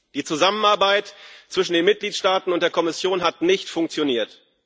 Die Zusammenarbeit zwischen den Mitgliedstaaten und der Kommission hat nicht funktioniert.